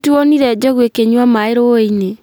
Nĩtuonire njogu ikĩnyua maĩ ruĩ-inĩ